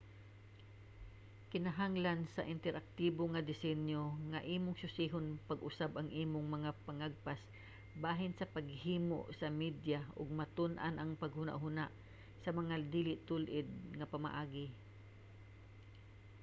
kinahanglan sa interaktibo nga disenyo nga imong susihon pag-usab ang imong mga pangagpas bahin sa paghimo sa media ug matun-an ang paghunahuna sa mga dili tul-id nga pamaagi